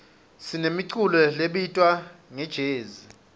sinemiculo lebitwa ngejezi